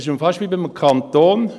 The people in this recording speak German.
Es ist fast wie bei einem Kanton.